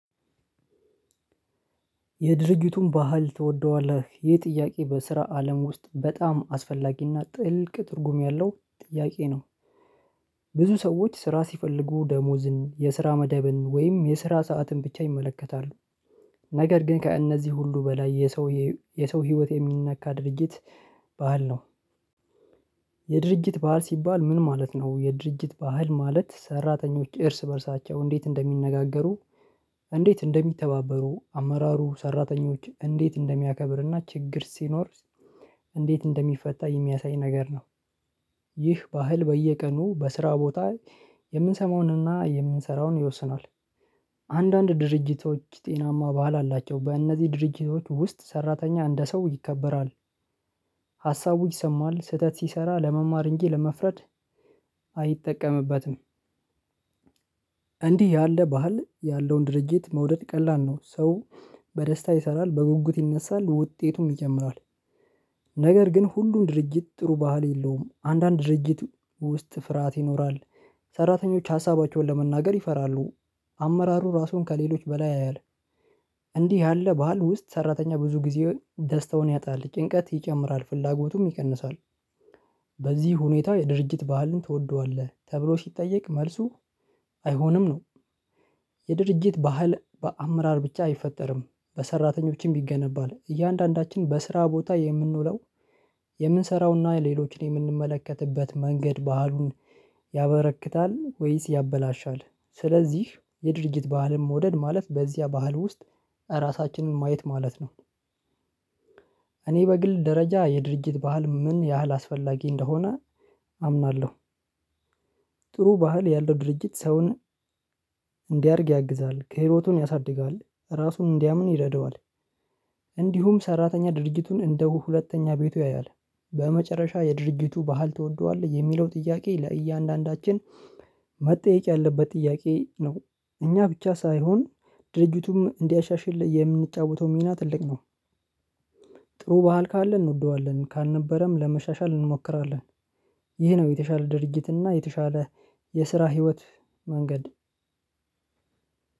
የድርጊቱን ባህል ትወደዋለህ ይህ ጥያቄ በስራ አለም ውስጥ በጣም አስፈላጊና ጥልቅ ትርጉም ያለው ጥያቄ ነው። ብዙ ሰዎች ስራ ሲፈልጉ ደሞዝን የስራ መደብን ወይም የስራ ሰዓትን ብቻ ይመለከታሉ። ነገር ግን ከእነዚህ ሁሉ በላይ የሰው የሰው ህይወት የሚነካ ድርጅት ባህል ነው። የድርጅት ባህል ሲባል ምን ማለት ነው የድርጅት ባህል ማለት ሰራተኞች እርስ በእርሳቸው እንዴት እንደሚነጋገሩ? እንዴት እንደሚተባበሩ አመራሩ ሰራተኞች እንዴት እንደሚያከብርና ችግር ሲኖር እንዴት እንደሚፈታ የሚያሳይ ነገር ነው። ይህ ባህል በየቀኑ በስራ ቦታ የምንሰማውንና የምንሰራውን ይወስናል። አንዳንድ ድርጅቶች ጤናማ ባህል አላቸው በእነዚህ ድርጅቶች ውስጥ ሰራተኛ እንደ ሰው ይከበራል። ሀሳቡ ይሰማል ስህተት ሲሰራ ለመማር እንጂ ለመፍረድ አይጠቀምበትም። እንዲህ ያለ ባህል ያለውን ድርጅት መውደድ ቀላል ነው ሰው በደስታ ይሰራል በጉጉት ይነሳል ውጤቱም ይጨምራል። ነገር ግን ሁሉም ድርጅት ጥሩ ባህል የለውም አንዳንድ ድርጅት ውስጥ ፍርሃት ይኖራል። ሰራተኞች ሀሳባቸውን ለመናገር ይፈራሉ። አመራሩ ራሱን ከሌሎች በላይ ያያል። እንዲህ ያለ ባህል ውስጥ ሰራተኛ ብዙ ጊዜ ደስታውን ያጣል ጭንቀት ይጨምራል ፍላጎቱም ይቀንሳል። በዚህ ሁኔታ የድርጅት ባህልን ትወደዋለህ ተብሎ ሲጠየቅ መልሱ አይሆንም ነው። የድርጅት ባህል በአመራር ብቻ አይፈጠርም በሰራተኞችም ይገነባል። እያንዳንዳችን በስራ ቦታ የምንውለው የምንሰራውና ሌሎችን የምንመለከትበት መንገድ ባህሉን ያበረክታል ወይስ ያበላሻል? ስለዚህ የድርጊት ባህልም ወደድ ማለት በዚያ ባህል ውስጥ እራሳችንን ማየት ማለት ነው። እኔ በግል ደረጃ የድርጅት ባህል ምን ያህል አስፈላጊ እንደሆነ አምናለሁ። ጥሩ ባህል ያለው ድርጅት ሰውን እንዲያድግ ያግዛል ህይወቱን ያሳድጋል ራሱን እንዲያምን ይረዳዋል። እንዲሁም ሰራተኛ ድርጊቱን እንደ ሁለተኛ ቤቱ ያያል። በመጨረሻ የድርጂቱ ባህል ትወደዋለህ የሚለው ጥያቄ ለእያንዳንዳችን መጠየቅ ያለበት ጥያቄ ነው። እኛ ብቻ ሳይሆን ድርጂቱም እንዲያሻሽል የምንጫወተው ሚና ትልቅ ነው። ጥሩ ባህል ካለ እንወደዋለን ካልነበረም ለማሻሻል እንሞክራለን። ይህ ነው የተሻለ ድርጊትና የተሻለ የስራ ህይወት መንገድ።